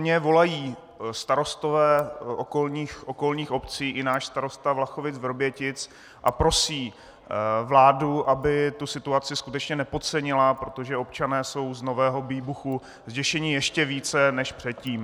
Mně volají starostové okolních obcí i náš starosta Vlachovic-Vrbětic a prosí vládu, aby tu situaci skutečně nepodcenila, protože občané jsou z nového výbuchu zděšeni ještě více než předtím.